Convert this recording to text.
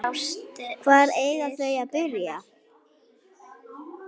Hvar eiga þau að byrja?